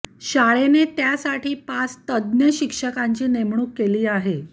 शाळेने त्यासाठी पाच तज्ज्ञ शिक्षकांची नेमणूक केली आहे